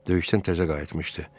Döyüşdən təzə qayıtmışdı.